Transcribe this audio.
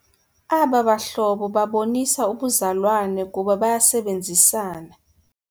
Aba bahlobo babonisa ubuzalwane kuba bayasebenzisana.